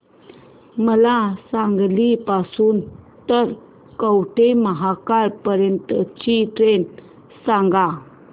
मला सांगली पासून तर कवठेमहांकाळ पर्यंत ची ट्रेन सांगा